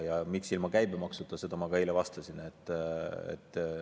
Ja miks ilma käibemaksuta, sellele ma ka eile vastasin.